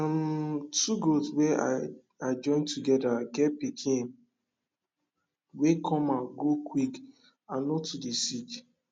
um two goat wey i i join together get pikin wey come out grow quick and no too dey sick